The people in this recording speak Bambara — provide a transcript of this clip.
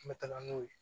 N bɛ taga n'o ye